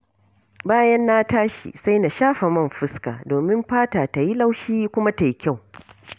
Bayan na tashi, sai in shafa man fuska domin fatata yi laushi, kuma ta yi kyau.